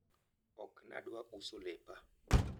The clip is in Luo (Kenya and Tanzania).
ok nadwa uso lepa